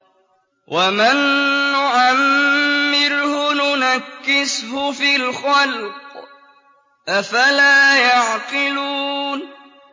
وَمَن نُّعَمِّرْهُ نُنَكِّسْهُ فِي الْخَلْقِ ۖ أَفَلَا يَعْقِلُونَ